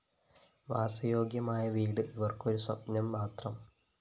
വാസയോഗ്യമായ വീട് ഇവര്‍ക്കൊരു സ്വപ്‌നംമാത്രം